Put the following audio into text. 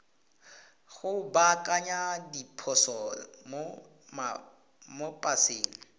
go baakanya diphoso mo paseng